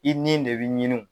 I ni de b'i ɲiniw.